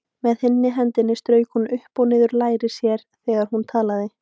Með hinni hendinni strauk hún upp og niður læri sér þegar hún talaði.